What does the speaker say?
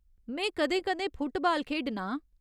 में कदें कदें फुटबाल खेढना आं।